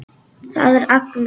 Það er Agnes.